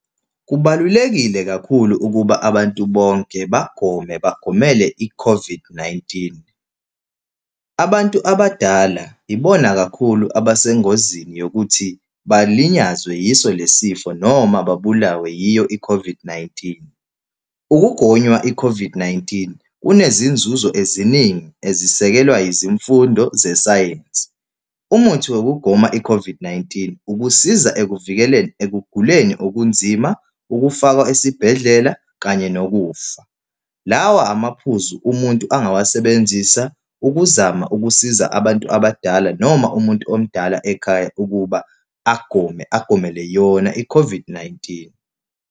Kubalulekile kakhulu ukuba abantu bonke bagome, bagomele i-COVID-19. Abantu abadala ibona kakhulu abesengozini yokuthi balinyazwa yiso lesi sifo, noma babulawe yiyo i-COVID-19. Ukugonywa i-COVID-19 kunezinzuzo eziningi ezisekelwe izimfundo zesayensi. Umuthi wokugoma i-COVID-19 ukusiza ekuvikeleni ekuguleni okunzima, ukufakwa esibhedlela, kanye nokufa. Lawa amaphuzu umuntu angawasebenzisa ukuzama ukusiza abantu abadala noma umuntu omdala ekhaya, ukuba agome, aqomele yona i-COVID-19.